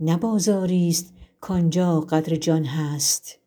نه بازاریست کان جا قدر جان هست